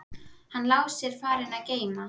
Hann Lási er farinn að geyma.